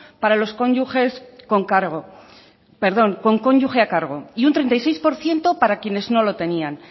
para los cónyuges con cargo perdón con cónyuge a cargo y un treinta y seis por ciento para quienes no lo tenían